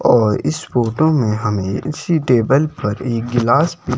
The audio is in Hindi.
और इस फोटो में इसी टेबल पर एक गिलास भी--